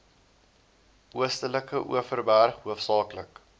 oostelike overberg hoofsaaklik